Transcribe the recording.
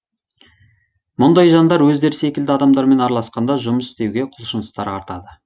мұндай жандар өздері секілді адамдармен араласқанда жұмыс істеуге құлшыныстары артады